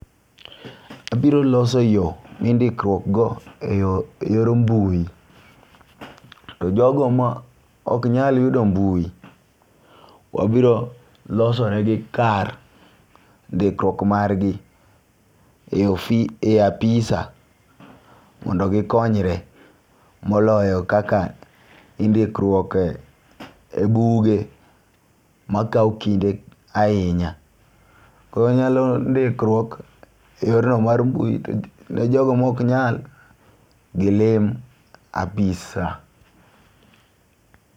Abiro loso yoo mi ndikruok go eyo eyor mbui to jogo ma ok nyal yudo mbui wabiro loso ne gi kar ndikruok mar gi e ofis e apisa mondo gikonyre moloyo kaka indikruok e e buge makawo kinde ahinya. Koro inyalo ndikruok e yor no mar mbui to ne jogo mok nyal gilim apisa.